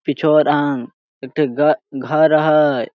पिछोर अंग एकठी घ घर अहाय।